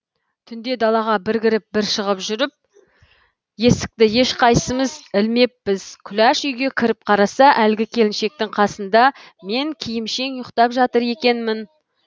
түнде далаға бір кіріп бір шығып жүріп есікті ешқайсымыз ілмеппіз күләш үйге кіріп қараса әлгі келіншектің қасында мен киімшең ұйықтап жатыр екенмін